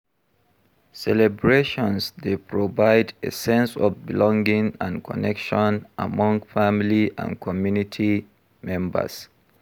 Celebrations dey provide a sense of belonging and connection among family and community members.